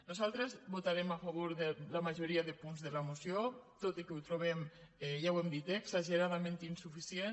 nosaltres votarem a favor de la majoria de punts de la moció tot i que ho trobem ja ho hem dit eh exageradament insuficient